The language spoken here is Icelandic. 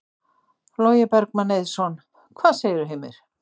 Logi Bergmann Eiðsson: Hvað segirðu, Heimir?